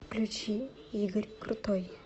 включи игорь крутой